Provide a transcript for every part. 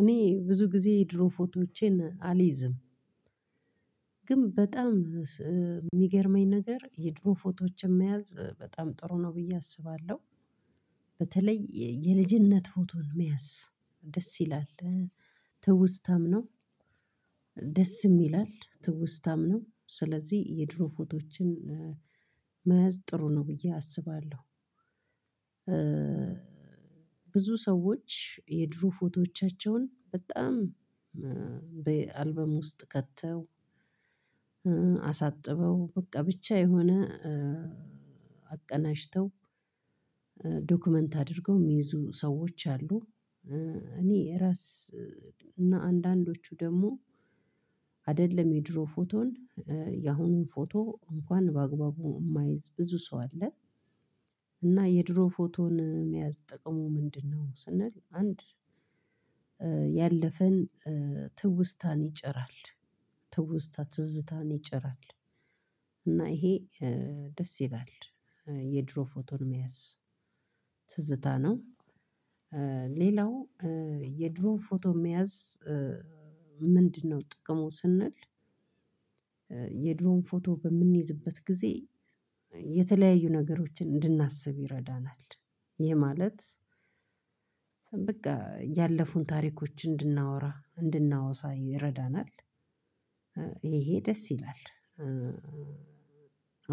እኔ ብዙ ጊዜ የድሮ ፎቶዎቼን አልይዝም ግን በጣም የሚገርመኝ ነገር የድሮ ፎቶዎችን መያዝ በጣም ጥሩ ነው ብዬ አስባለሁ። በተለይ የልጅነት ፎቶን መያዝ ደስ ይላል ትውስታም ነው ደስ ይላል ትውስታም ነው ስለዚህ የድሮ ፎቶዎችን መያዝ ጥሩ ነው ብዬ አስባለሁ። ብዙ ሰዎች የድሮ ፎቶዎቻቸውን በጣም በአልበም ውስጥ ከተው በቃ ብቻ የሆነ አቀናጅተው ዶክመንት አድርገው የሚይዙ ሰዎች አሉ እኔ የራስ እና አንዳንዶቹ ደግሞ አይደለም የድሮ ፎቶን ያሁኑን ፎቶ እንኳን በአግባቡ የማይዝ ብዙ ሰው አለ። እና የድሮ ፎቶን መያዝ ጠቅሞ ምንድነው ስንል አንድ ያለፈን ትውስታን ይጭራል ትውስታ ትዝታን ይጭራል እና ይሄ ደስ ይላል የድሮ ፎቶን መያዝ ትዝታ ነው። ሌላው የድሮ ፎቶ መያዝ ምንድነው ጥቅሙ ስንል የድሮን ፎቶ በምንይዝበት ጊዜ የተለያዩ ነገሮችን እንድናስብ ይረዳናል። ይህ ማለት በቃ ያለፉን ታሪኮች እንድናወራ እንድናወሳ ይረዳናል ይሄ ደስ ይላል።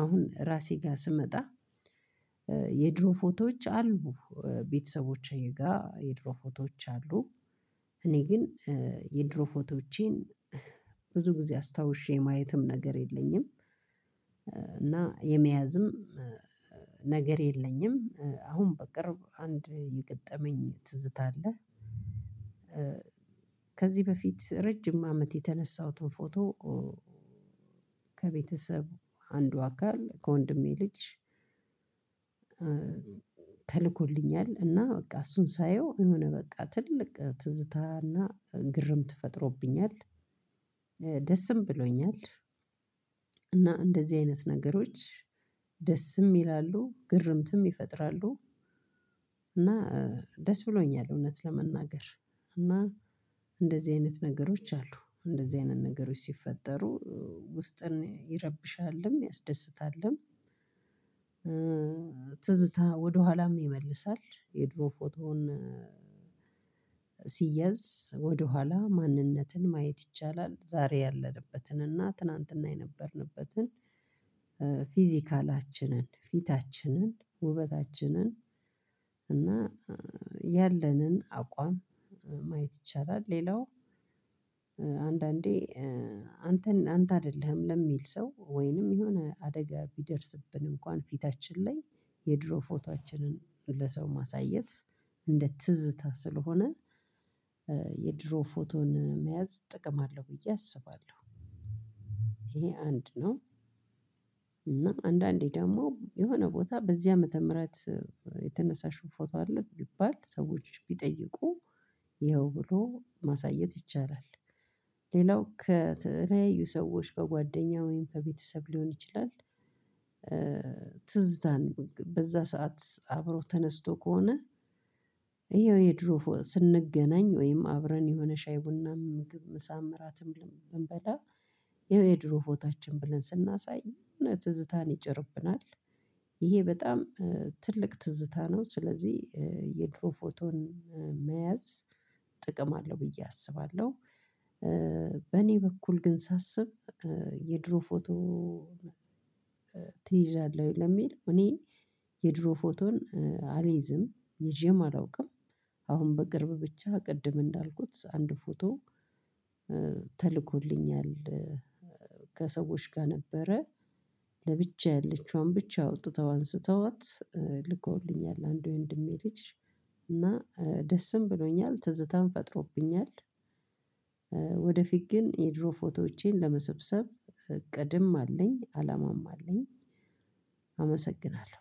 አሁን ራሴ ጋር ስመጣ የድሮ ፎቶዎች አሉ ቤተሰቦቼ ጋር የድሮ ፎቶዎች አሉ እኔ ግን የድሮ ብዙ ጊዜ አስታውሼ ማየትም ነገር የለኝም። እና የመያዝም ነገር የለኝም አሁን በቅርብ አንድ የገጠመኝ ትዝታ አለ ከዚህ በፊት ረጅም አመት የተነሳሁትን ፎቶ ከቤተሰቡ አንዱ አካል ከወንድሜ ልጅ ተልኮልኛል እና በቃ እሱን ሳየው የሆነ በቃ ትልቅ ትዝታና ግርምት ፈጥሮብኛል ደስም ብሎኛል እና እንደዚህ አይነት ነገሮች ደስም ይላሉ ግርምትም ይፈጥራሉ እና ደስ ብሎኛል እውነት ለመናገር እና እንደዚህ አይነት ነገሮች አሉ እንደዚህ አይነት ነገሮች ሲፈጠሩ ውስጥን ይረብሻልም ያስደስታልም። ትዝታ ወደኋላም ነው ይመልሳል የድሮ ፎቶውን ሲያዝ ወደኋላ ማንነትን ማየት ይቻላል ዛሬ ያለንበትን እና ትናንትና የነበርንበትን ፊዚካላችንን ፊታችንን ውበታችንን እና ያለንን አቋም ማየት ይቻላል። ሌለው አንዳንዴ አንተን አንተ አይደለም የሚል ሰው ወይንም የሆነ አደጋ ብደርስብን እንኳን ፊታችን ላይ የድሮ ፎቶዋችን ለሰው ማሳየት እንደ ትዝታ ስለሆነ የድሮ ፎቶን መያዝ ጥቅም አለው ብዬ አስባለሁ ይሄ አንድ ነው እና አንዳንዴ ደግሞ የሆነ ቦታ በዚህ ዓመተ ምህረት የተነሳሽው ፎቶ አለ ይባል ሰዎች ቢጠይቁ ብሎ ማሳየት ይቻላል። ሌላው ከተለያዩ ሰዎች በጓደኛ ወይም ከቤተሰብ ሊሆን ይችላል ትዝታን በዛ ሰዓት አብሮ ተነስቶ ከሆነ ይኸው የድሮ ስንገናኝ ወይም አብረን የሆነ ሻይ ቡና ምግብ መሳም ራትም ብንበላ የድሮ ፎታችን ብለን ስናሳይ እውነት ፅታን ይጨርብናል። በጣም ትልቅ ፅታ ነው ስለዚህ የድሮ ፎቶን መያዝ ጥቅም አለው ብዬ አስባለሁ። በእኔ በኩል ግን ሳስብ የድሮ ፎቶ ትይዛለህ ለሚል እኔ የድሮ ፎቶን አልይዝም ይዤም አላውቅም። አሁን በቅርብ ብቻ ቅድም እንዳልኩት አንድ ፎቶ ተልኮልኛል ከሰዎች ጋር ነበረ ለብቻዬ ብቻ አውጥተው አንስተውት ልኮልኛል አንዱ የህንድሜ ልጅ እና ደስም ብሎኛል ትዝታም ፈጥሮብኛል። ወደፊት ግን የድሮ ፎቶዎቼን ለመሰብሰብ እቅድም አለኝ አላማም አለኝ አመሰግናለሁ።